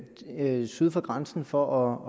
næppe syd for grænsen for